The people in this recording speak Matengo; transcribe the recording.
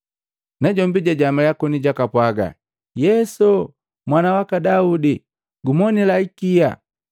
Najombi jajamalya koni jakapwaaga, “Yesu, Mwana waka Daude, gumonila ikia!”